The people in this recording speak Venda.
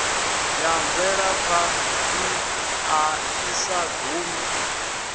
ya mvelaphanḓa i sa gumi